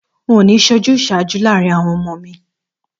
N ò ní s̩e ojús̩àájú láàárín àwo̩n o̩mo̩ mi